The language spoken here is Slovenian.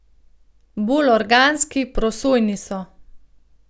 Bolj organski, prosojni so.